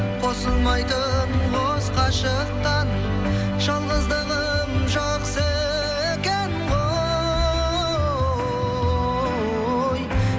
қосылмайтын қос ғашықтан жалғыздығым жақсы екен ғой